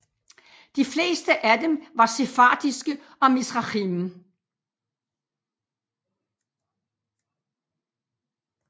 De fleste af dem var sefardiske og Mizrahim